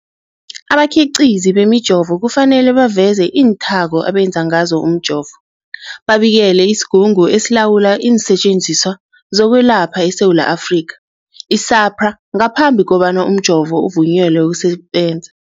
Abakhiqizi bemijovo kufanele baveze iinthako abenze ngazo umjovo, babikele isiGungu esiLawula iinSetjenziswa zokweLapha eSewula Afrika, i-SAHPRA, ngaphambi kobana umjovo uvunyelwe ukusebenza.